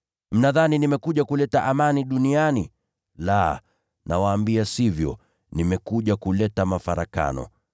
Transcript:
Mnadhani nimekuja kuleta amani duniani? La, nawaambia sivyo, nimekuja kuleta mafarakano.